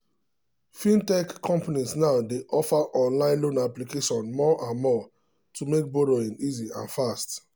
fintech companies now dey offer online loan application more and more to make borrowing easy and fast.